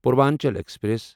Purvanchal express